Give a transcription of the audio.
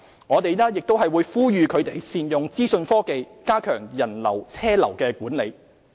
我們亦呼籲他們善用資訊科技加強人流車流管理。